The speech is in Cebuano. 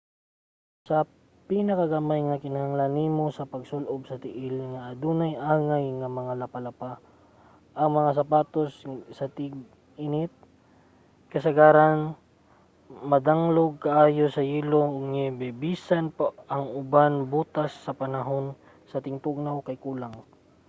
sa pinakagamay kinahanglan nimo og pangsul-ob sa tiil nga adunay angay nga mga lapalapa. ang mga sapatos sa ting-init kasagaran madanglog kaayo sa yelo ug niyebe bisan pa ang uban botas sa panahon sa tingtugnaw kay kulang